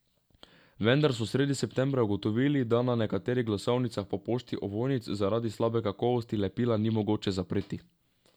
Vendar so sredi septembra ugotovili, da na nekaterih glasovnicah po pošti ovojnic zaradi slabe kakovosti lepila ni mogoče zapreti.